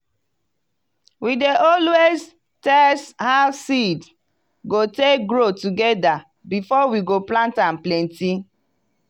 we dey alwayas test how seed go take grow together beforewe go plant am plenty.